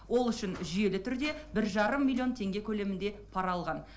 ол үшін жүйелі түрде бір жарым миллион теңге көлемінде пара алған